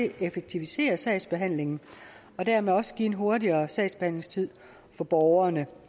at effektivisere sagsbehandlingen og dermed også give en hurtigere sagsbehandlingstid for borgerne